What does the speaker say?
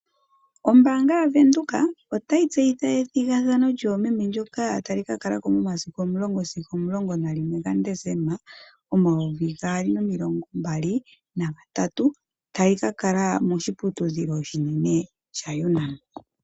Ombaanga yaVenduka otayi tseyitha ethigathano lyoomeme ndyoka tali kakalako 10 sigo 11 gaDesemba 2023, tayi kakala moshiputidhilo oshinene shaUNAM.